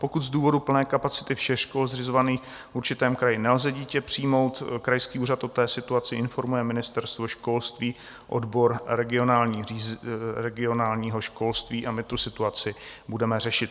Pokud z důvodu plné kapacity všech škol zřizovaných v určitém kraji nelze dítě přijmout, krajský úřad o té situaci informuje Ministerstvo školství, odbor regionálního školství a my tu situaci budeme řešit.